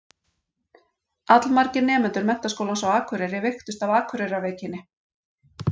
Allmargir nemendur Menntaskólans á Akureyri veiktust af Akureyrarveikinni.